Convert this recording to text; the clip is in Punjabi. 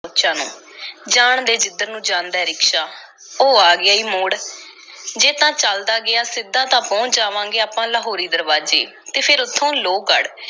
ਸੋਚਾਂ ਨੂੰ, ਜਾਣ ਦੇ ਜਿੱਧਰ ਨੂੰ ਜਾਂਦਾ ਰਿਕਸ਼ਾ, ਉਹ ਆ ਗਿਆ ਈ ਮੋੜ, ਜੇ ਤਾਂ ਚੱਲਦਾ ਗਿਆ ਸਿੱਧਾ ਤਾਂ ਪਹੁੰਚ ਜਾਵਾਂਗੇ ਆਪਾਂ ਲਾਹੌਰੀ ਦਰਵਾਜ਼ੇ ਅਤੇ ਫੇਰ ਉੱਥੋਂ ਲੋਹਗੜ੍ਹ.